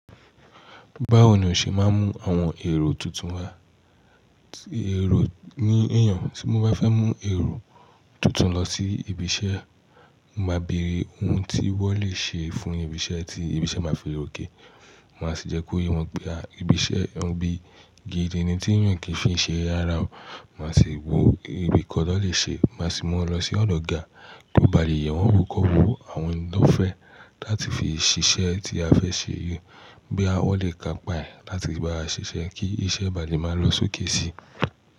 Báwo ni o ṣe máa ń mú àwọn èrò tuntun wá? Èrò ni èèyàn tí mo bá fẹ́ mú èrò tuntun lọ sí ibi iṣẹ́, mo máa bèrè ohun tí wọ́n lè ṣe fún ibi iṣẹ́ tí ibi iṣẹ́ máa fi lòkè. Máa sì jẹ́ kó yé wọn pé à ibi iṣẹ́ wọn bí i gidi ni tí èèyàn kì í fi ṣe ara o. Máa sì wò ewé kí wọn tó lè ṣe, má sì mú wọn lọ sí ọdọ ọ̀gá kàn bá lè yẹ̀ wọ́n wọ́ kọ́ wo àwọn nǹkan fẹ́ láti fi ṣiṣẹ́ tí a fẹ ṣe yí, bóyá wọ́n lè kàń pà ẹ́ láti báwa ṣiṣẹ́ kí iṣẹ́ ba lè máa lọ sókè si.